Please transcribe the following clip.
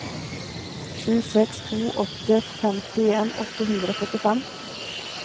sju seks to åtte femtien åtte hundre og førtifem